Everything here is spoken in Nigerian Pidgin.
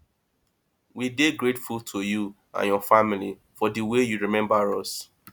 we dey grateful to you and your family for the way you remember us